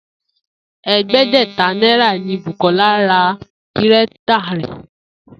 È̩é̩dé̩gbè̩ta náírà ni Bùkó̩lá ra gírétà rè̩